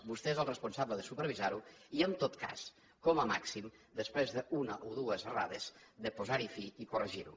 vostè és el responsable de supervisar ho i en tot cas com a màxim després d’una o dues errades de posar hi fi i corregir ho